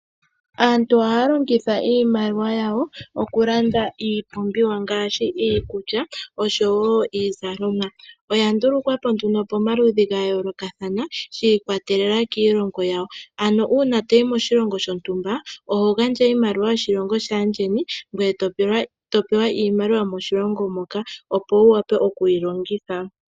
Aantu ohaya longitha iimaliwa yawo okulanda iipumbiwa ngaashi iikulya oshowo iizalomwa. Oya ndulukwa po nduno pamaludhi ga yoolokathana shiikwatelela kiilongo yawo. Ano uuna toyì koshilongo shontumba oho gandja oshimaliwa shoshilongo shaandjeni gweye topewa iimaliwa yomoshilongo moka, opo wu wape okuyi longitha.